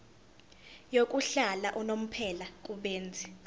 yokuhlala unomphela kubenzi